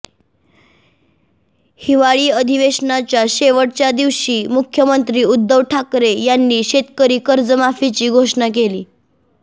हिवाळी अधिवेशनाच्या शेवटच्या दिवशी मुख्यमंत्री उद्धव ठाकरे यांनी शेतकरी कर्जमाफीची घोषणा केली